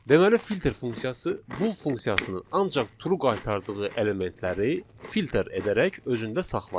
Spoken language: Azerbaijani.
Deməli filter funksiyası bull funksiyasının ancaq true qaytardığı elementləri filter edərək özündə saxlayır.